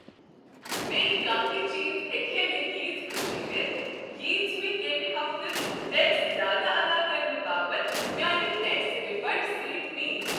بیٚیہ کانہہ تہ چیز ہیکہ ہے نہ ییژ خوشی دِتھ ییژ مےٚ ییٚمہ ہفتہٕ ٹیکس زیادٕ ادا کرنہٕ باپت میانہ ٹیکس ریفنڈسۭتۍ میج۔